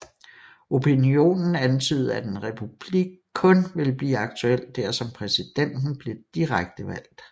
Opinionen antydede at en republik kun ville blive aktuel dersom præsidenten blev direkte valgt